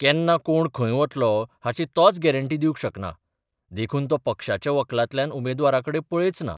केन्ना कोण खंय वतलो हाची तोच गॅरंटी दिवंक शकना देखून तो पक्षाच्या वक्लांतल्यान उमेदवाराकडेन पळयच ना.